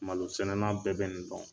Malosɛnɛna bɛɛ bɛ nin dɔn.